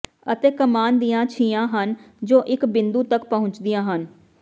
ਅਤੇ ਕਮਾਨ ਦੀਆਂ ਛੀਆਂ ਹਨ ਜੋ ਇੱਕ ਬਿੰਦੂ ਤੱਕ ਪਹੁੰਚਦੀਆਂ ਹਨ